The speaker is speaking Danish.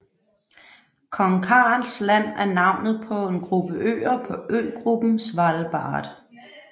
Kong Karls Land er navnet på en gruppe øer på øgruppen Svalbard